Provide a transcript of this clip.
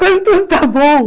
Quando tudo está bom.